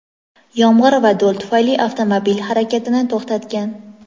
yomg‘ir va do‘l tufayli avtomobil harakatini to‘xtatgan.